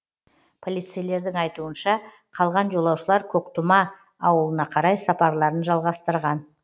полицейлердің айтуынша қалған жолаушылар көктұма ауылына қарай сапарларын жалғастырған